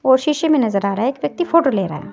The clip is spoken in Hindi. और शीशे में नजर आ रहा है एक व्यक्ति फोटो ले रहा--